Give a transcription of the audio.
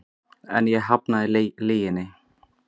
En ég hafnaði lyginni.